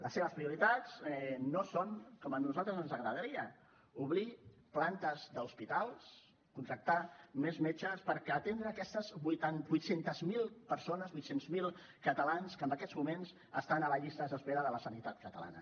les seves prioritats no són les que a nosaltres ens agradarien obrir plantes d’hospitals contractar més metges per atendre aquestes ochocientos millar persones ochocientos millar catalans que en aquests moments estan a les llistes d’espera de la sanitat catalana